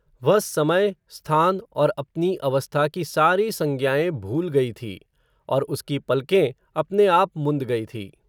वह, समय, स्थान और अपनी अवस्था की सारी संज्ञाएं भूल गई थी, और उसकी पलकें, अपने आप मुंद गई थी